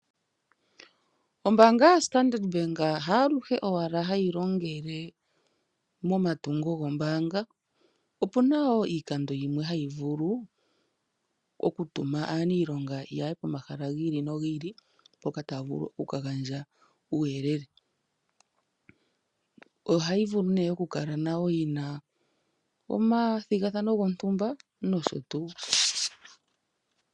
Ombaanga yaStandard Bank haaluhe owala hayi longele momatungo gombaanga, opu na wo wiikando yimwe hayi vulu okutuma aaniilonga ya ye pomahala gi ili nogi ili mpoka taya vulu oku ka gandja uuyelele. Ohayi vulu nduno okukala yi na omathigathano gontumba nosho tuu.